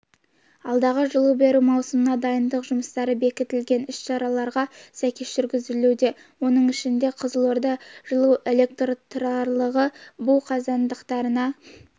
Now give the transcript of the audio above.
алдағы жылу беру маусымына дайындық жұмыстары бекітілген іс-шараларға сәйкес жүргізілуде оның ішінде қызылорда жылуэлектрорталығы бу қазандықтарына